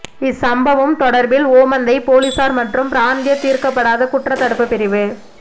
இச்சம்பவம் தொடர்பில் ஓமந்தை பொலிசார் மற்றும் பிராந்திய தீர்க்கப்படாத குற்றத்தடுப்பு பிரிவு